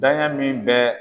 Daɲa min bɛɛ